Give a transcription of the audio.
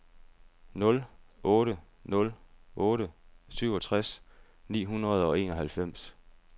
nul otte nul otte syvogtres ni hundrede og enoghalvfems